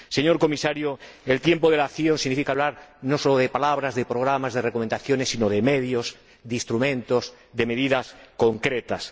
Señor Comisario, el tiempo de la acción significa hablar no solo de palabras, de programas, de recomendaciones, sino de medios, de instrumentos, de medidas concretas.